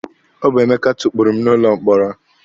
Ọ bụ Emeka tukpuru m n'ụlọ mkpọrọ.